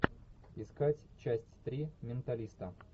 искать часть три менталиста